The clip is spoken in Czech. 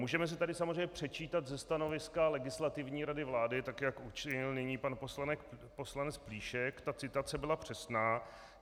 Můžeme si tady samozřejmě předčítat ze stanoviska Legislativní rady vlády, tak jak učinil nyní pan poslanec Plíšek, ta citace byla přesná.